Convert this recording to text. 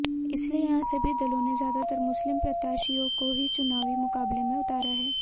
इसलिए यहां सभी दलों ने ज्यादातर मुस्लिम प्रत्याशियों को ही चुनावी मुकाबले में उतारा है